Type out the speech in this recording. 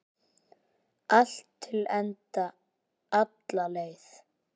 Allt til enda, alla leið.